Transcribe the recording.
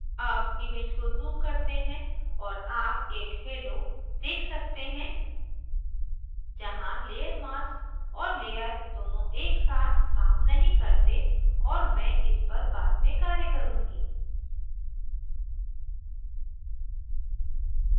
अब image को zoom करते हैं और आप एक halo halo देख सकते हैं जहाँ layer mask और layer दोनों एक साथ काम नहीं करते और मैं इस पर बाद में कार्य करुँगी